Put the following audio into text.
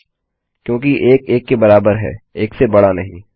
फलसे क्योंकि 1 1 के बराबर है 1 से बड़ा नहीं